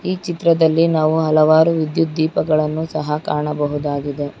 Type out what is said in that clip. ಈ ಚಿತ್ರದಲ್ಲಿ ನಾವು ಹಲವಾರು ವಿದ್ಯುತ್ ದೀಪಗಳನ್ನು ಸಹ ಕಾಣಬಹುದಾಗಿದೆ.